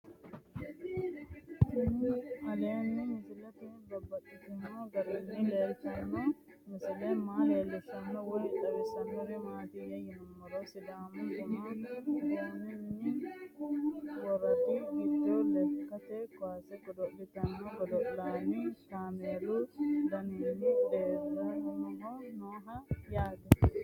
Tinni aleenni leelittannotti babaxxittinno garinni leelittanno misile maa leelishshanno woy xawisannori maattiya yinummoro sidaamu bunnuu boonni woraddi giddo lekkatte kaasse godo'lanno gidoonni kaammelu danonni reennohu noo yaatte